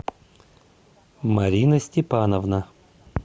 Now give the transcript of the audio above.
марина степановна